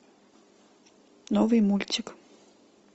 новый мультик